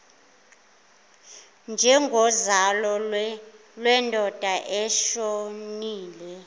njengozalo lwendoda eshonile